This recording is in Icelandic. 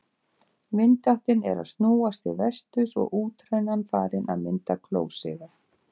Vindáttin er að snúast til vesturs og útrænan farin að mynda klósiga.